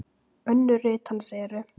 Önnur rit hans eru